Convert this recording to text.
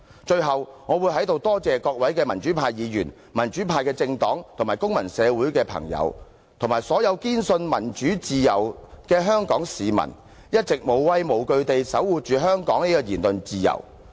最後，我要在這裏多謝各位民主派議員、民主派政黨及公民社會的朋友，以及所有堅信民主自由的香港市民，一直無畏無懼地守護着香港的言論自由。